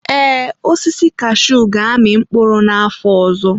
Ee, osisi kashuu ga-amị mkpụrụ n'afọ ọzọ.